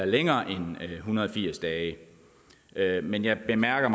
længere end en hundrede og firs dage men jeg bemærker